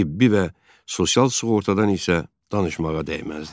Tibbi və sosial sığortadan isə danışmağa dəyməzdi.